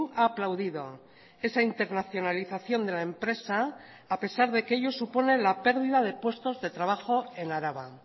ha aplaudido esa internacionalización de la empresa a pesar de que ello supone la pérdida de puestos de trabajo en araba